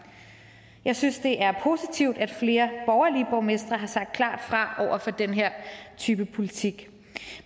jeg synes det er positivt at flere borgerlige borgmestre har sagt klart fra over for den her type politik